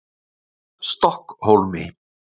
Stokkhólmi